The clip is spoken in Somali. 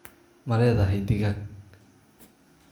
Ma leedahay digaag?